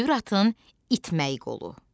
Dürtın itməyi qolu.